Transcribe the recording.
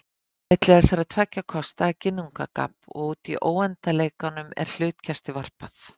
Á milli þessara tveggja kosta er ginnungagap og úti í óendanleikanum er hlutkesti varpað.